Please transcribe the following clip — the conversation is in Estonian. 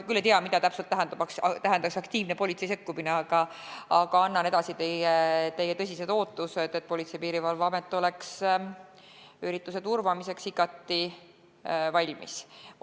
Ma küll ei tea, mida täpselt tähendaks politsei aktiivne sekkumine, aga annan edasi teie tõsised ootused, et Politsei- ja Piirivalveamet oleks ürituse turvamiseks igati valmis.